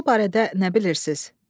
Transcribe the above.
Koroğlu barədə nə bilirsiz?